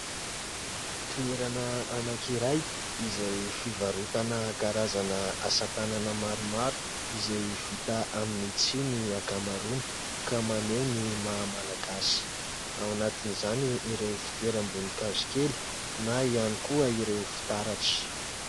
Toerana anankiray izay fivarotana karazana asan-tànana maromaro izay vita amin'ny tsihy ny ankamaroany; ka maneho ny maha malagasy. Ao anatin'izany ireo fitoeram-boninkazo kely na ihany koa ireo fitaratra.